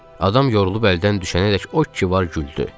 Adam yorulub əldən düşənədək o ki var güldü.